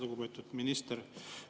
Lugupeetud minister!